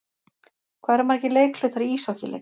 Hvað eru margir leikhlutar í íshokkíleik?